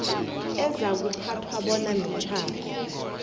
ezakuthathwa bona mitjhado